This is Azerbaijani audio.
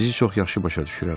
Sizi çox yaxşı başa düşürəm.